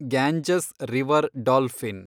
Ganges river dolphin